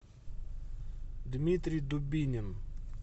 дмитрий дубинин